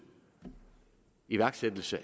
iværksættelse